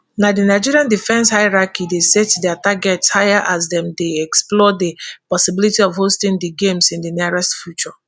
now di nigeria defence hierarchy dey set dia targets higher as dem dey explore di possibility of hosting di games in di nearest future